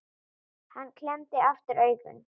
Hann klemmdi aftur augun